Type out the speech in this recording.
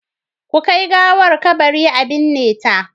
Ku kai gawar kabari a binne ta.